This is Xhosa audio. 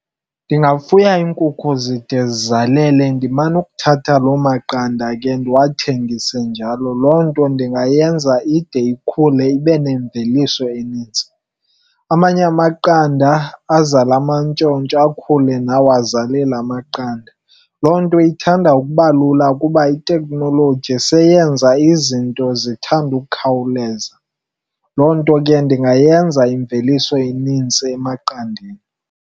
Ndingafuya iinkukhu zide zizalela, ndimane ukuthatha lo maqanda ke ndiwathengise njalo. Loo nto ndingayenza ide ikhule ibe nemveliso enintsi. Amanye amaqanda azale amantshontsho, akhule nawo azalele amaqanda. Loo nto ithanda ukuba lula ukuba iteknoloji seyesenza izinto zithande ukukhawuleza loo nto ke ndingayenza imveliso enintsi emaqandeni.